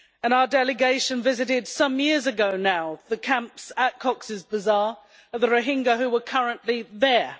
Our delegation visited some years ago now the camps at Cox's Bazaar of the Rohingya who were currently there.